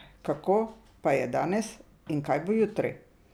Kako pa je danes in kaj bo jutri?